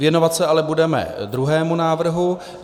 Věnovat se ale budeme druhému návrhu.